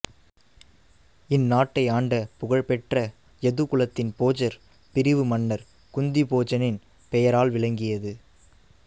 இந்நாட்டை ஆண்ட புகழ் பெற்ற யது குலத்தின் போஜர் பிரிவு மன்னர் குந்தி போஜனின் பெயரால் விளங்கியது